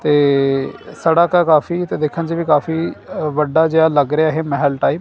ਤੇ ਸੜਕ ਐ ਕਾਫੀ ਤੇ ਦੇਖਣ 'ਚ ਵੀ ਕਾਫੀ ਅ ਵੱਡਾ ਜਿਹਾ ਲੱਗ ਰਿਹਾ ਇਹ ਮਹਿਲ ਟਾਈਪ --